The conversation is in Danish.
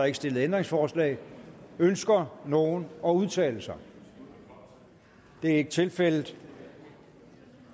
ikke stillet ændringsforslag ønsker nogen at udtale sig det er ikke tilfældet